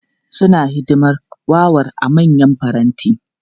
Suna hidimar warar a manyan faranti.